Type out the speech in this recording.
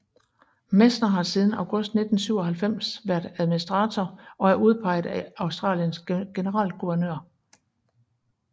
Messner har siden august 1997 været administrator og er udpeget af Australiens generalguvernør